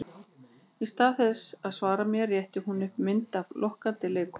Í stað þess að svara mér rétti hún upp mynd af lokkandi leikkonu.